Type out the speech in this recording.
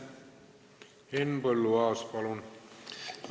Henn Põlluaas, palun!